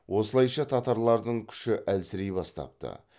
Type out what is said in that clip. осылайша татарлардың күші әлсірей бастапты